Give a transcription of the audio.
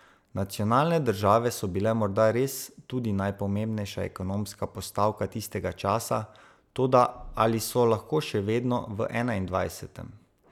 Nacionalne države so bile morda res tudi najpomembnejša ekonomska postavka tistega časa, toda ali so lahko še vedno v enaindvajsetem?